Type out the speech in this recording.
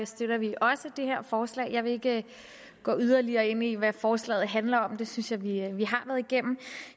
støtter vi også det her forslag jeg vil ikke gå yderligere ind i hvad forslaget handler om for det synes jeg vi har været igennem